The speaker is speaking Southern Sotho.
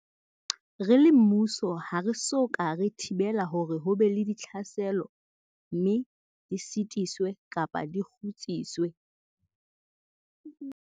Re le mmuso ha re so ka re thibela hore ho be le ditlhaselo mme di sitiswe kapa di kgutsiswe.